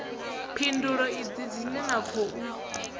phindulo idzi dzine na khou